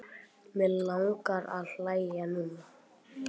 Mig langar að hlæja núna.